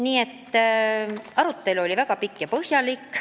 Nii et arutelu oli väga põhjalik ja pikk.